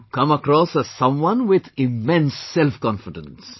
You come across as someone with immense self confidence